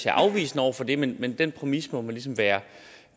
er afvisende over for det men men den præmis må man ligesom være